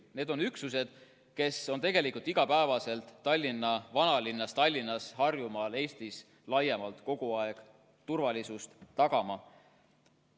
Need olid üksused, kes on tegelikult iga päev Tallinna vanalinnas ja mujal Tallinnas ning Harjumaal, ka Eestis laiemalt kogu aeg turvalisust tagamas.